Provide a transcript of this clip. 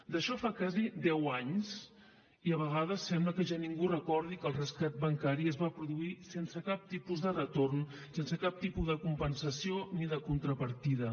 d’això fa quasi deu anys i a vegades sembla que ja ningú recordi que el rescat bancari es va produir sense cap tipus de retorn sense cap tipus de compensació ni de contrapartida